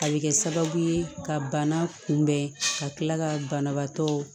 A bɛ kɛ sababu ye ka bana kunbɛn ka tila ka banabaatɔ